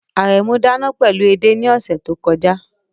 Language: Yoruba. Aremu dana pẹlu ede ni ọsẹ to kọja